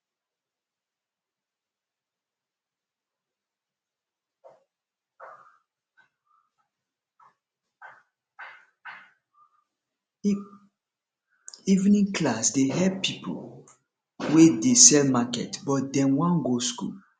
evening class dey help pipo wey dey sell market but dem wan go skool